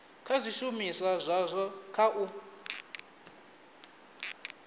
kha zwishumiswa zwazwo kha u